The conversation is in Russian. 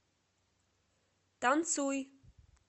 танцуй